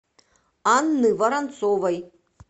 анны воронцовой